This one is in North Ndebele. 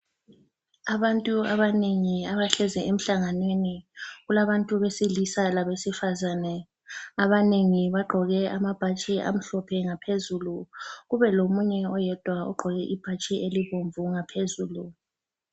Abantu abanengi abahlezi emhlanganweni, kulabantu besilisa labesifazane. Abanengi bagqoke amabhatshi amhlophe ngaphezulu .Kube lomunye oyedwa ogqoke ibhatshi elibomvu ngaphezulu.